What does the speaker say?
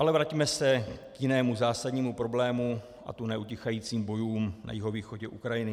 Ale vraťme se k jinému zásadnímu problému, a to neutichajícím bojům na jihovýchodě Ukrajiny.